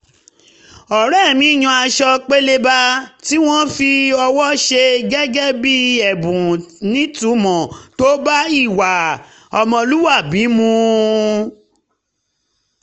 ọ̀rẹ́ mi yan aṣọ pélébá um tí wọ́n fi ọwọ́ ṣe gẹ́gẹ́ bí ẹ̀bùn nítumọ̀ tó bá ìwà um ọmọlúwàbí mu